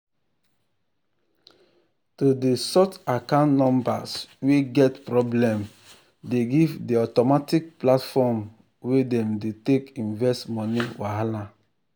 to dey sort account numbers wey get problem dey give the automatic platform wey dem dey take invest money wahala.